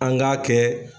An k'a kɛ